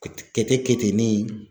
Keteketenin.